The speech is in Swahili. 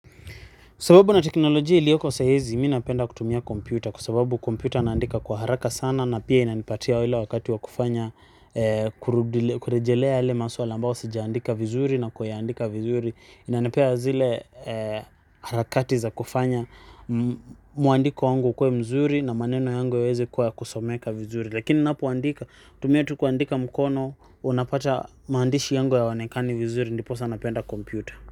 Kwa sababu na teknolojia ilioko saizi, mi napenda kutumia kompyuta. Kwa sababu kompyuta naandika kwa haraka sana na pia inanipatia ile wakati wa kufanya kurejelea yale maswali ambao sijaandika vizuri na kuyaandika vizuri. Inanipea zile harakati za kufanya mwandiko wangu ukuwe mzuri na maneno yangu yaweze kwa kusomeka vizuri. Lakini ninapoandika, hutumia tu kuandika mkono, unapata maandishi yangu yaonekani vizuri, ndiposa napenda kompyuta.